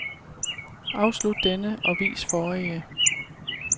Afslut denne og vis forrige.